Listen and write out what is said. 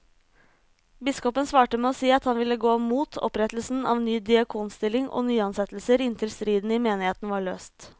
Biskopen svarte med å si at han ville gå mot opprettelse av ny diakonstilling og nyansettelser inntil striden i menigheten var løst.